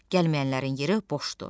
Gəlməyənlərin yeri boşdur.